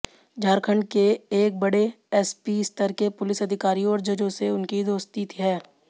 झारखंड के एक बड़े एसपी स्तर के पुलिस अधिकारी और जजों से उसकी दोस्ती है